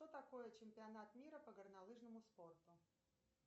что такое чемпионат мира по горнолыжному спорту